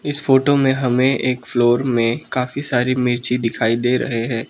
इस फोटो में हमें एक फ्लोर में काफी सारी मिर्ची दिखाई दे रहे हैं।